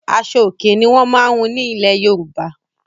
Aṣo-Òkè ni wọ́n máa ń hun ní ilẹ̀ Yorùbá.